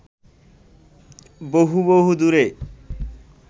বহু বহু দূরে